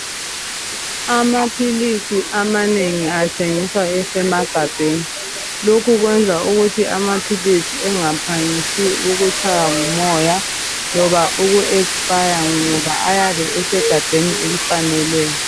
Amaphilisi amanengi athengiswa esemagabheni lokhu kwenza ukuthi amaphilisi engaphangisi ukutshaywa ngumoya loba uku expire ngoba ayabe esegabheni elifaneleyo.